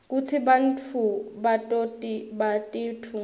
kutsi batfungi bato batitfunga njani